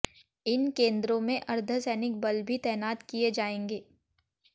इन केन्द्रों में अर्धसैनिक बल भी तैनात किए जाएंगे